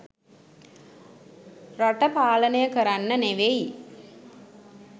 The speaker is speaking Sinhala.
රට පාලනය කරන්න නෙවෙයි